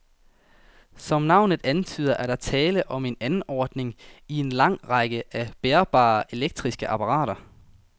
Som navnet antyder, er der tale om en anordning i en lang række af bærbare elektriske apparater.